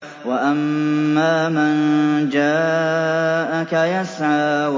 وَأَمَّا مَن جَاءَكَ يَسْعَىٰ